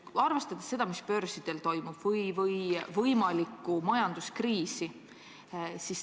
Arvestagem seda, mis börsidel toimub, võimalikku majanduskriisi.